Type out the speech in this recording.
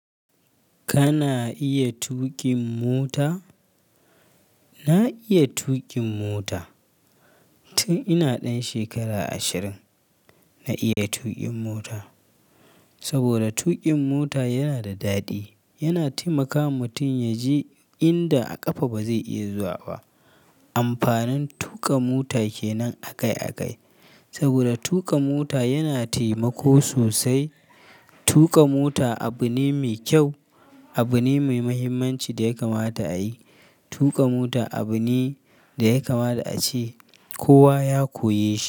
Kana iya tuƙin mota? Na iya tuƙin mota. Tun ina ɗan shekara ashirin, na iya tuƙin mota. Saboda tuƙin mota yana da daɗi, yana taimakawa mutum ya je inda a ƙafa ba zai iya zuwa ba. Amfanin tuƙa mota ke nan akai akai. Saboda tuƙa mota yana taimako sosai. Tuƙa mota abu ne mai kyau, abu ne mai muhimmanci da ya kamata a yi. Tuƙa mota abu ne da ya kama da ace kowa ya koya shi.